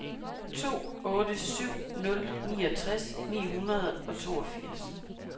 to otte syv nul niogtres ni hundrede og toogfirs